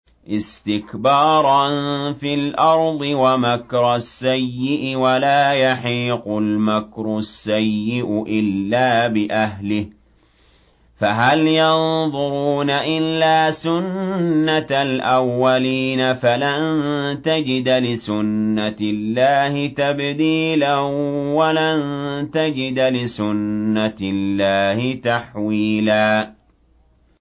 اسْتِكْبَارًا فِي الْأَرْضِ وَمَكْرَ السَّيِّئِ ۚ وَلَا يَحِيقُ الْمَكْرُ السَّيِّئُ إِلَّا بِأَهْلِهِ ۚ فَهَلْ يَنظُرُونَ إِلَّا سُنَّتَ الْأَوَّلِينَ ۚ فَلَن تَجِدَ لِسُنَّتِ اللَّهِ تَبْدِيلًا ۖ وَلَن تَجِدَ لِسُنَّتِ اللَّهِ تَحْوِيلًا